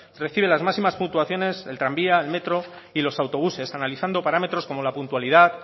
reciben las máximas puntuaciones el tranvía el metro y los autobuses analizando parámetros como la puntualidad